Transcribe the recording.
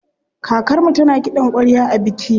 Kakarmu tana kiɗan ƙwarya a biki.